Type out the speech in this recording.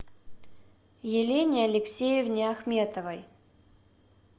елене алексеевне ахметовой